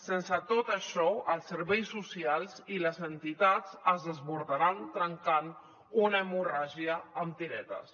sense tot això els serveis socials i les entitats es desbordaran tancant una hemorràgia amb tiretes